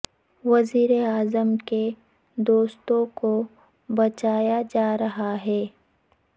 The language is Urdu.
وزیر اعظم کے دوستوں کو بچایا جا رہا ہے